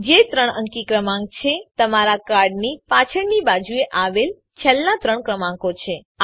જે ત્રણ અંકી ક્રમાંક છે તમારા કાર્ડની પાછળની બાજુએ આવેલ છેલ્લા ત્રણ ક્રમાંકો છે